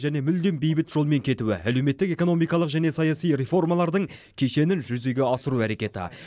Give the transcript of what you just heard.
және мүлдем бейбіт жолмен кетуі әлеуметтік экономикалық және саяси реформалардың кешенін жүзеге асыру әрекеті